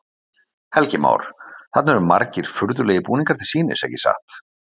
Helgi Már: Þarna eru margir furðulegir búningar til sýnis, ekki satt?